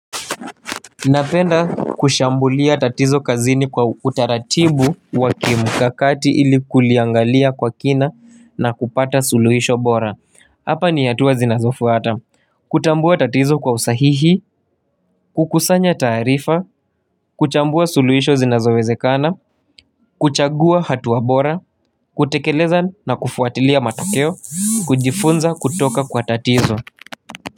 Napenda kushambulia tatizo kazini kwa utaratibu wa kimu kakati ili kuliangalia kwa kina na kupata suluhisho bora. Hapa ni hatua zinazofuata. Kutambua tatizo kwa usahihi, kukusanya taarifa, kuchambua suluhisho zinazowezekana, kuchagua hatua bora, kutekeleza na kufuatilia matokeo, kujifunza kutoka kwa tatizo.